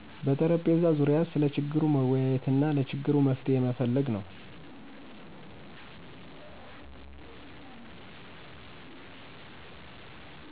በጠረጴዛ ዙሪያ ስለ ችግሩ መወያየትና ለችግሩ መፍትሄ መፈለግ ነው።